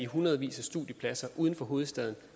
hundredvis af studiepladser uden for hovedstaden